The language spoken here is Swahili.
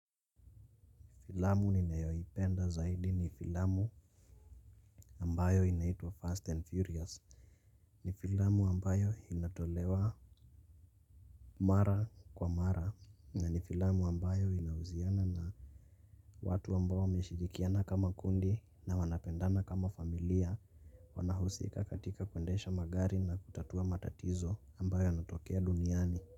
Filamu ninayoipenda zaidi ni filamu ambayo inaitwa Fast and Furious. Ni filamu ambayo inatolewa mara kwa mara, na ni filamu ambayo inahuziana na watu ambao wameshirikiana kama kundi na wanapendana kama familia. Wanahusika katika kuendesha magari na kutatua matatizo ambayo yanatokea duniani.